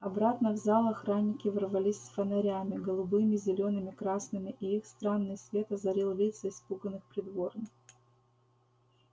обратно в зал охранники ворвались с фонарями голубыми зелёными красными и их странный свет озарил лица испуганных придворных